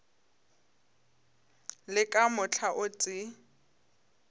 le ka mohla o tee